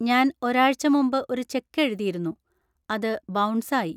ഞാൻ ഒരാഴ്ച മുമ്പ് ഒരു ചെക്ക് എഴുതിയിരുന്നു, അത് ബൗൺസ് ആയി.